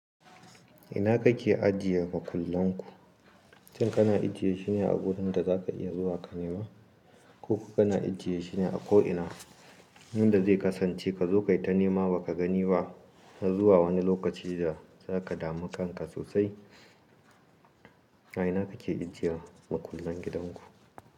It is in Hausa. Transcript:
Ina kake ajiye makullan ku? Shin kana ajiye shine a gudun da za ka iya zuwa ka nema? Ko kana ajiye shine a ko ina wanda zai kasance ka zo kai ta nema ba ka gani ba har zuwa wani lokaci da za ka damu kanka sosai? Ina kake ajiye makullan gidan ku?